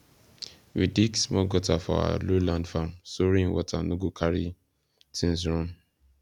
we dig small gutter for our lowland farm so rain water no go carry things run